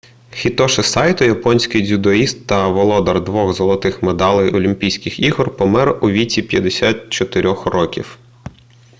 хітоші сайто японський дзюдоїст та володар двох золотих медалей олімпійських ігор помер у віці 54-х років